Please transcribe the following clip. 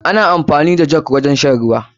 Ana amfani da jogi wurin shan ruwa.